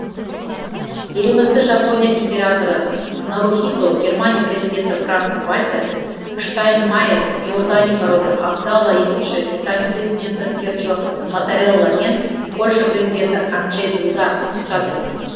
елімізді жапония императоры нарухито германия президенті франк вальтер штайнмайер иордания королі абдалла екінші италия президенті серджо маттарелла мен польша президенті анджей дуда құттықтады